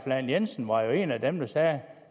lahn jensen var en af dem der sagde